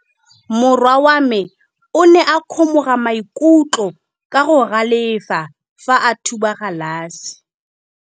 Morwa wa me o ne a kgomoga maikutlo ka go galefa fa a thuba galase.